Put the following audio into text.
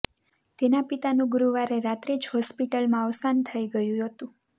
તેના પિતાનું ગુરુવારે રાત્રે જ હોસ્પિટલમાં અવસાન થઇ ગયુ હતુ